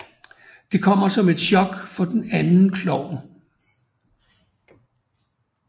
Det kommer som et chok for den anden klovn